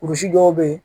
Kurusi dɔw bɛ yen